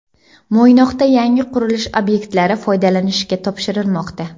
Mo‘ynoqda yangi qurilish obyektlari foydalanishga topshirilmoqda.